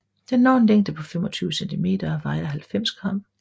Den når en længde på 25 cm og vejer 90 g